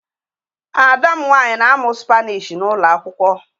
Ada m nwanyị na-amụ Spanish n'ụlọ akwụkwọ